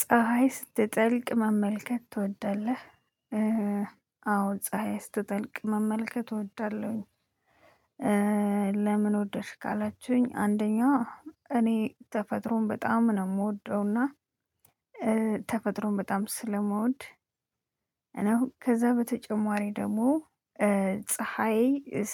ፀሀይ ስትጠልቅ መመልከት ትወዳለህ? አዎ ፀሀይ ስትጠልቅ መመልከት እወዳለሁኝ። ለምን? ወድደሽ ካላችሁኝ አንደኛዋ እኔ ተፈጥሮን በጣም ነው የምወደውና ተፈጥሮን በጣም ስለምወድ እና ከዛ በተጨማሪ ደግሞ ፀሀይ